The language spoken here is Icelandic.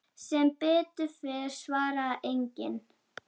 Sem betur fer svarar enginn.